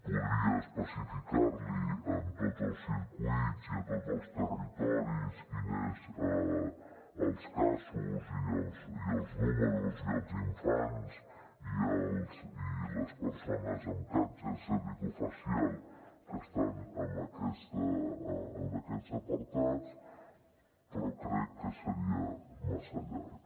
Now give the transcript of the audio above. podria especificar li en tots els circuits i a tots els territoris quins són els casos i els números i els infants i les persones amb càncer cervicofacial que estan en aquests apartats però crec que seria massa llarg